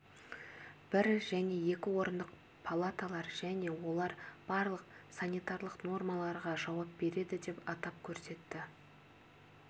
бір және екі орындық палаталар және олар барлық санитарлық нормаларға жауап береді деп атап көрсетті